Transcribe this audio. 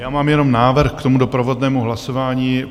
Já mám jenom návrh k tomu doprovodnému hlasování.